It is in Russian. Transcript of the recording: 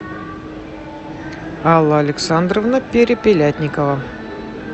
алла александровна перепелятникова